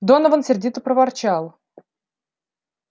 донован сердито проворчал